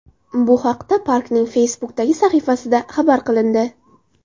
Bu haqda parkning Facebook’dagi sahifasida xabar qilindi .